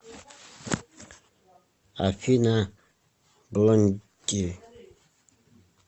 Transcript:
афина блонди